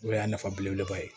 O y'a nafa belebeleba ye